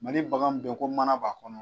Mali bagan min bɛ ye ko mana b'a kɔnɔ